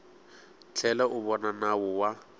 tlhela u vona nawu wa